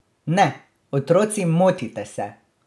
Ne, otroci, motite se!